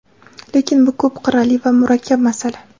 Lekin bu – ko‘p qirrali va murakkab masala.